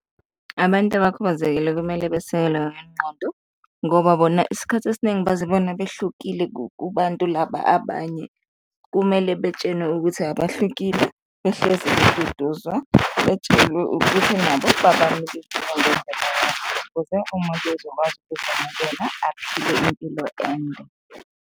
Abantu abakhubazekile kumele besekelwe ngengqondo ngoba bona isikhathi esiningi bazibona behlukile kubantu laba abanye. Kumele betshenwe ukuthi abahlukile, behlezi beduduzwa betshelwe ukuthi nabo babanike ithuba ukuze umuntu ezokwazi aphile impilo ende.